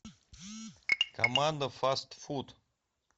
команда фаст фуд